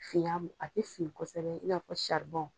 Finya a te fin kosɛbɛ, i n'a fɔ